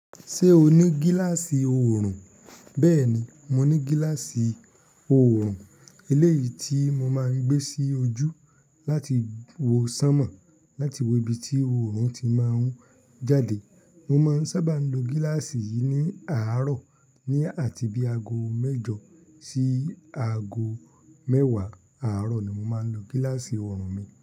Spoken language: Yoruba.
Ṣé o ní gíláàsì oorun? Bẹ́ẹ̀ni, mo ní gíláàsì oorun. Eléyìí tí mo máa ń gbé sí ojú láti wo sánmọ̀, láti wo ibi tí oorun ti máa ń jáde. Mo máa ń sábà n lo gíláàsì yìí ní àárọ̀ ní àti bí aago mẹ́jọ sí aago mẹ́wàá àárọ̀ ni mo máa ń lo gíláàsì oorun mi.